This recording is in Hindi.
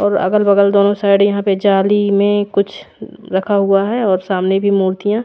और अगल बगल दोनों साइड यहाँ पे जाली में कुछ रखा हुआ है और सामने भी मुर्तीया